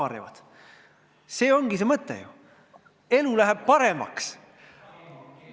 Selles ongi ju see mõte, elu läheb paremaks.